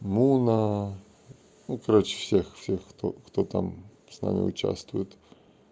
муна ну короче всех всех кто кто там с нами участвует